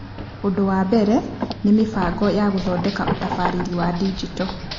Ũndũ wa mbere nĩ mĩbango ya gũthondeka ũtabarĩre wa Digito.